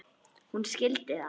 Hún skildi það.